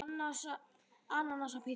Ananas á pizzu?